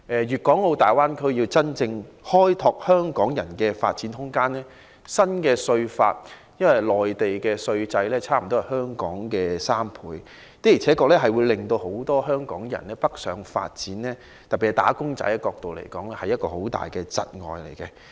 粵港澳大灣區如要真正開拓香港人的發展空間，新稅法影響甚大，因為內地徵收的稅款差不多是香港的3倍，對很多希望北上發展的香港人，特別是"打工仔"造成很大的窒礙。